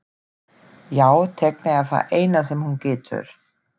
Já, teikna er það eina sem hún getur.